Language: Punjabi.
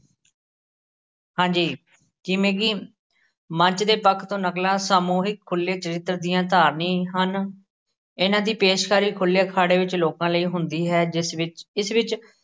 ਹਾਂਜੀ, ਜਿਵੇਂ ਕਿ ਮੰਚ ਦੇ ਪੱਖ ਤੋਂ ਨਕਲਾਂ ਸਮੋਹਿਕ ਖੁੱਲੇ ਚਰਿਤ੍ਰ ਦੀਆਂ ਧਾਰਨੀ ਹਨ ਇਹਨਾਂ ਦੀ ਪੇਸ਼ਕਾਰੀ ਖੁੱਲੇ ਅਖਾੜੇ ਵਿਚ ਲੋਕਾਂ ਲਈ ਹੁੰਦੀ ਹੈ ਜਿਸ ਵਿੱਚ ਇਸ ਵਿੱਚ